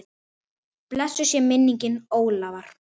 Blessuð sé minning Ólafar.